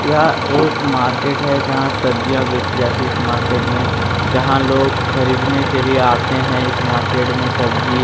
यह एक मार्केट है जहाँ सब्जियां बेची जाती है इस मार्केट में जहाँ लोग खरीदने के लिए आते हैं इस मार्केट में सब्जी --